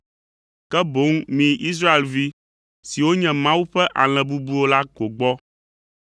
ke boŋ miyi Israelvi siwo nye Mawu ƒe alẽ bubuwo la ko gbɔ.